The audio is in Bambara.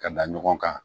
Ka da ɲɔgɔn kan